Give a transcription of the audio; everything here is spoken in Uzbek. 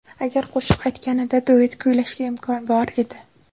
Agar qo‘shiq aytganida, duet kuylashga imkon bor edi.